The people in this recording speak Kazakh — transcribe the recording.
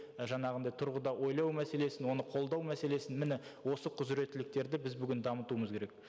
і жаңағындай тұрғыда ойлау мәселесін оны қолдау мәселесін міне осы құзыреттіліктерді біз бүгін дамытуымыз керек